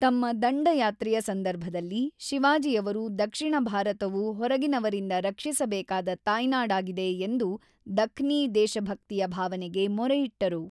ತಮ್ಮ ದಂಡಯಾತ್ರೆಯ ಸಂದರ್ಭದಲ್ಲಿ, ಶಿವಾಜಿಯವರು ದಕ್ಷಿಣ ಭಾರತವು ಹೊರಗಿನವರಿಂದ ರಕ್ಷಿಸಬೇಕಾದ ತಾಯ್ನಾಡಾಗಿದೆ ಎಂದು ದಖ್ನಿ ದೇಶಭಕ್ತಿಯ ಭಾವನೆಗೆ ಮೊರೆಯಿಟ್ಟರು.